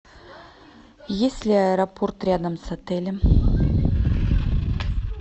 есть ли аэропорт рядом с отелем